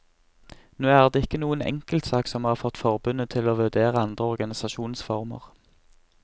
Nå er det ikke noen enkeltsak som har fått forbundet til å vurdere andre organisasjonsformer.